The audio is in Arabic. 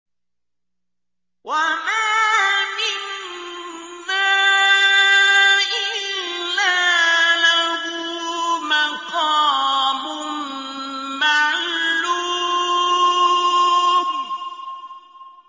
وَمَا مِنَّا إِلَّا لَهُ مَقَامٌ مَّعْلُومٌ